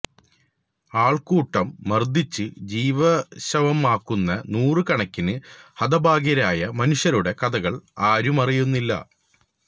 ആള്ക്കൂട്ടം മര്ദ്ദിച്ച് ജീവച്ഛവമാക്കുന്ന നൂറ് കണക്കിന് ഹതഭാഗ്യരായ മനുഷ്യരുടെ കഥകള് ആരുമറിയുന്നില്ല